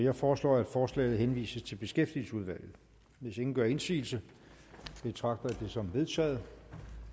jeg foreslår at forslaget henvises til beskæftigelsesudvalget hvis ingen gør indsigelse betragter jeg det som vedtaget